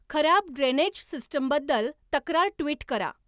खराब ड्रेनेज सिस्टमबद्दल तक्रार ट्विट करा